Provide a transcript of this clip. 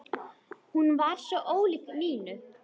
Hún var svo ólík Nínu.